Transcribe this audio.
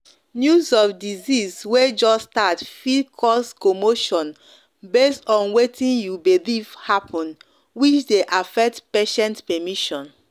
news of disease way just start fit cause commotion base on wetin you believe happen which dey affect patient permission.